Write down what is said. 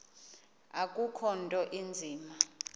akukho nto inzima